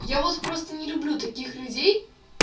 я вас просто не люблю таких людей